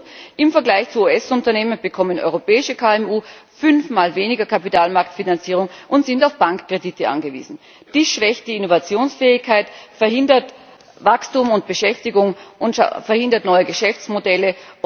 Und im Vergleich zu US Unternehmen bekommen europäische KMU fünfmal weniger Kapitalmarktfinanzierung und sind auf Bankkredite angewiesen. Die schlechte Innovationsfähigkeit verhindert Wachstum und Beschäftigung und verhindert neue Geschäftsmodelle.